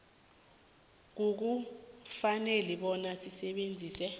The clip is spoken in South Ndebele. akukafaneli bona asebenzise